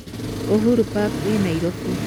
Uhuru park ĩĩ Nairobi.